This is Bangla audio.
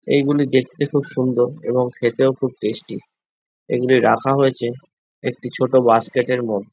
এই গুলি দেখতে খুব সুন্দর এবং খেতেও খুব টেস্টি এগুলি রাখা হয়েছে একটি ছোট বাস্কেট এর মধ্যে।